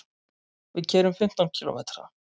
Við keyrum fimmtán kílómetra.